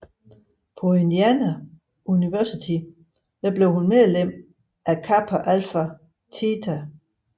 På Indiana University blev hun medlem af Kappa Alpha Theta